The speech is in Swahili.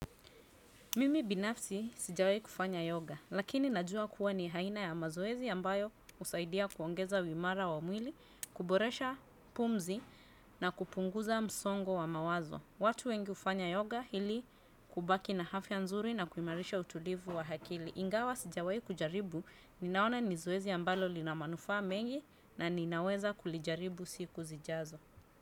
Mimi binafsi sijawai kufanya yoga. Lakini najua kuwa, ni aina ya mazoezi ambayo husaidia kuongeza uimara wa mwili, kuboresha pumzi na kupunguza msongo wa mawazo. Watu wengi hufanya yoga ili kubaki na afya nzuri na kuimarisha utulivu wa akili. Ingawa sijawaikujaribu, ninaona ni zoezi ambalo lina manufaa mengi na ninaweza kulijaribu siku zijazo.